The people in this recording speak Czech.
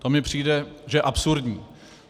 To mi přijde, že je absurdní.